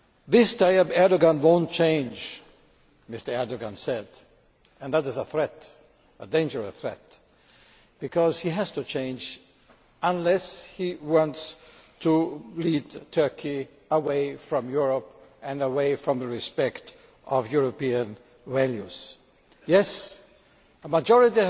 This Tayyip Erdoğan won't change', Mr Erdoğan said and that is a threat, a dangerous threat because he has to change unless he wants to lead Turkey away from Europe, and away from the respect of European values. Yes, a majority